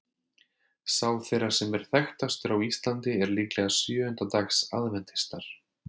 Sá þeirra sem er þekktastur á Íslandi er líklega sjöunda dags aðventistar.